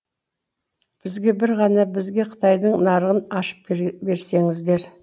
бізге бір ғана бізге қытайдың нарығын ашып берсеңіздер